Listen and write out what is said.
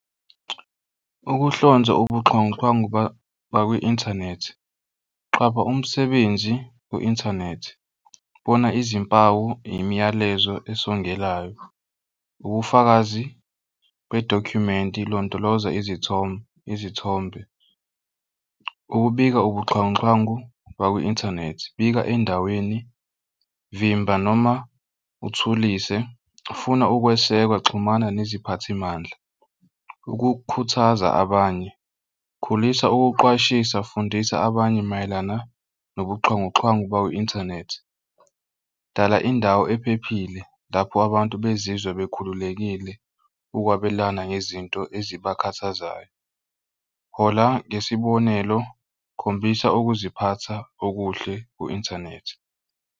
Ukuhlonza ubuxhwanguxhwangu bakwi-inthanethi qwaba umsebenzi ku-inthanethi bona izimpawu imiyalezo esongelayo ubufakazi bedokhumenti ilondoloza izithombe izithombe. Ukubika ubuxhwanguxhwangu bakwi-inthanethi, bika endaweni vimba noma uthulise funa ukwesekwa xhumana neziphathimandla. Ukukhuthaza abanye, khulisa ukuqwashisa fundisa abanye mayelana nobuxhwanguxhwangu bakwi-inthanethi. Dala indawo ephephile, lapho abantu bezizwe bekhululekile ukwabelana ngezinto ezibakhathazayo. Hola ngesibonelo khombisa ukuziphatha okuhle ku-inthanethi.